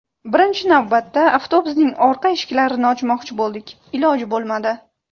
Birinchi navbatda avtobusning orqa eshiklarini ochmoqchi bo‘ldik, iloji bo‘lmadi.